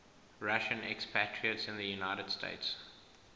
russian expatriates in the united states